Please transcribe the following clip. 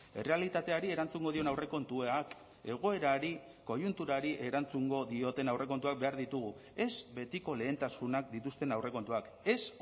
errealitateari erantzungo dion aurrekontuak egoerari koiunturari erantzungo dioten aurrekontuak behar ditugu ez betiko lehentasunak dituzten aurrekontuak ez